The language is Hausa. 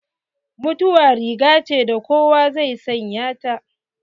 Mutuwa rigace da kowa zai sanya ta.